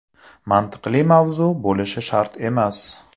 Mantiqli mavzu bo‘lishi shart emas.